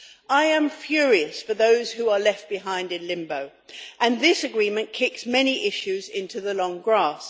I am furious for those who are left behind in limbo, and this agreement kicks many issues into the long grass.